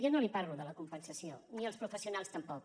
jo no li parlo de la compensació ni els professionals tampoc